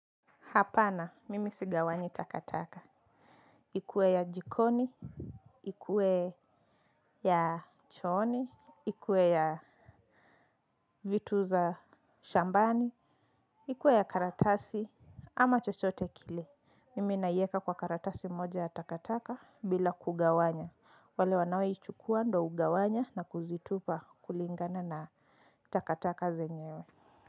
Hapana, mimi sigawanyi takataka. Ikue ya jikoni, ikue ya chooni, ikue ya vitu za shambani, ikue ya karatasi ama chochote kile. Mimi naiweka kwa karatasi moja ya takataka bila kugawanya. Wale wanao ichukua ndio hugawanya na kuzitupa kulingana na takataka zenyewe.